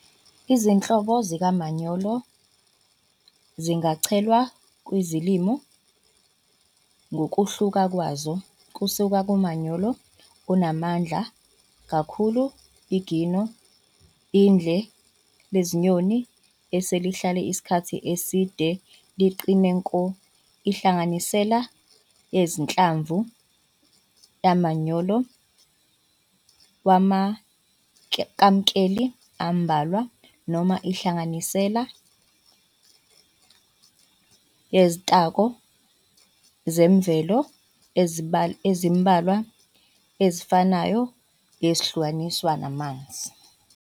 Izinhlobo zikamanyolo zingachelelwa kuzilimo ngokuhluka kwazo, kusuka kumanyolo onamandla kakhulu, iguano, indle lezinyoni eselihlale isikhathi eside laqina nko, inhlanganisela yezinhlamvu yomanyolo wamakhemikhali ambalwa, noma inhlanganisela yezithako zemvelo ezimbalwa ezifanayo-ezihlanganiswe namanzi.